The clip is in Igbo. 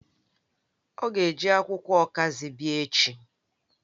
O ga-eji akwukwo okazi bia echi